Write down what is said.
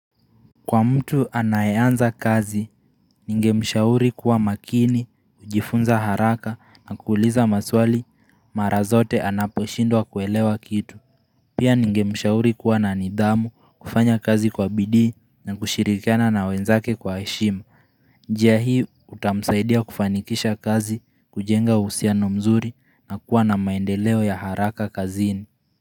Kwa mtu anayeanza kazi ningemshauri kuwa makini kujifunza haraka na kuuliza maswali mara zote anaposhindwa kuelewa kitu Pia ningemshauri kuwa na nidhamu kufanya kazi kwa bidii na kushirikiana na wenzake kwa heshima njia hii utamsaidia kufanikisha kazi kujenga uhusiano mzuri na kuwa na maendeleo ya haraka kazini.